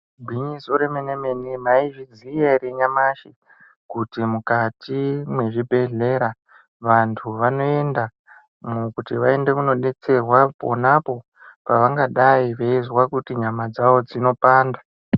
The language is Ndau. Gwinyiso remene-mene, maizviziya ere nyamashi kuti mukati mwezvibhedhlera vantu vanoenda kuti vaende kunodetserwa ponapo pavangadai veizwa kuti nyama dzavo dzinopanda?